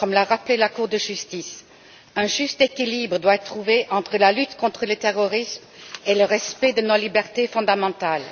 Comme l'a rappelé la Cour de justice, un juste équilibre doit être trouvé entre la lutte contre le terrorisme et le respect de nos libertés fondamentales.